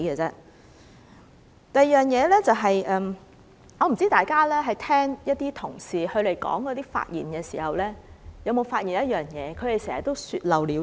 第二方面，我不知大家聽議員發言時，有沒有留意他們常會說漏了嘴。